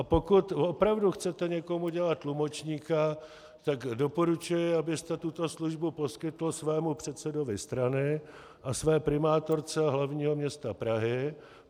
A pokud opravdu chcete někomu dělat tlumočníka, tak doporučuji, abyste tuto službu poskytl svému předsedovi strany a své primátorce hlavního města Prahy.